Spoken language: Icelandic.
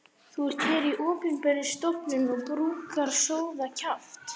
Þú ert hér í opinberri stofnun og brúkar sóðakjaft.